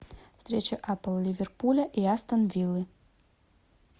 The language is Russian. встреча апл ливерпуля и астон виллы